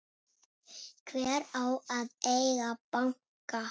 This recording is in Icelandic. Hver á að eiga banka?